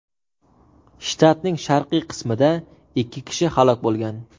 Shtatning sharqiy qismida ikki kishi halok bo‘lgan.